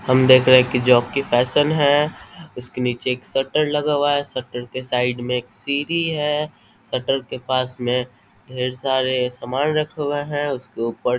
हम देख रहे है की जोकी फैशन है उसके नीचे एक शटर लगा हुआ है शटर के साइड में एक सीढ़ी है शटर के पास में ढेर सारे सामान रखे हुए है उसके ऊपर।